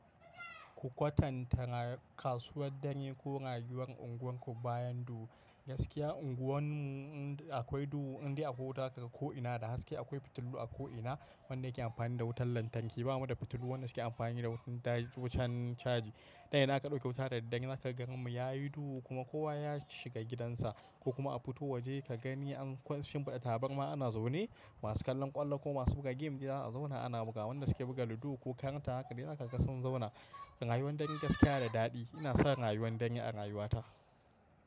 Ku kwatantana kasuwar danye ko rayuwar unguwarku bayan duhu. Gaskiya unguwan mu in akwai duhu indai akwai wuta zakaga ko'ina da haske. Akwai fitilu a ko'ina wanda yake amfani da wutar lantarki. Ba mu da fitilu wanda suke amfani da wutan caji. Dan idan aka ɗauki wuta da daddare zaka ga garin mu yayi duhu kuma kowa ya shiga gidansa ko kuma a fito waje ka gani an shimfida tabarma ana zaune. Masu kallon ƙwallo ko masu buga game dai za a zauna ana buga. Wanda suke buga ludo ko karta haka dai zakaga sun zauna. Rayuwar dare gaskiya da daɗi. Ina son rayuwar danye a rayuwata.